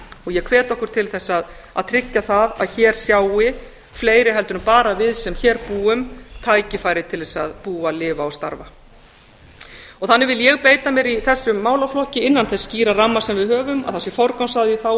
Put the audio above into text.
og ég hvet okkur til að tryggja það að hér sjái fleiri heldur en bara við sem hér búum tækifæri til að búa lifa og starfa þannig vil ég beita mér í þessum málaflokki innan þess skýra ramma sem við höfum að það sé forgangsraðað í þágu